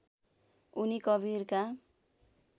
उनी कवीरका